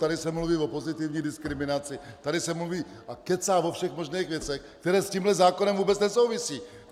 Tady se mluví o pozitivní diskriminaci, tady se mluví a kecá o všech možných věcech, které s tímto zákonem vůbec nesouvisí.